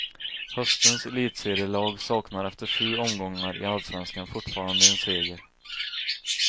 Höstens elitserielag saknar efter sju omgångar i allsvenskan fortfarande en seger.